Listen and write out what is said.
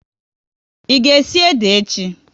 Ị ga esi ede echi?